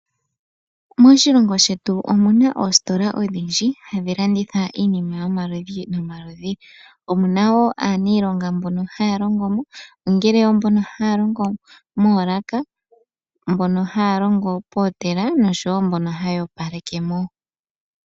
Moshilongo shetu omuna oositola odhondji, ha dhi landitha iinima yomaludhi nomaludhi. Omuna woo aaniilonga mbono ha ya longo mo, ongele oombono ha ya longo moolaka, mbono ha ya longo pomashina no sho woo mbono ha ya opalekemo.